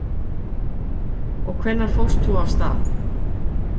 Höskuldur: Og hvenær fórst þú af stað?